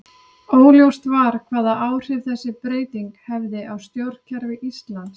Óljóst var hvaða áhrif þessi breyting hefði á stjórnkerfi Íslands.